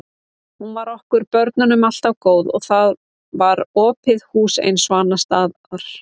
Hún var okkur börnunum alltaf góð og þar var opið hús eins og annars staðar.